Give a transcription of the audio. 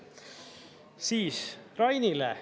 Siis Rainile.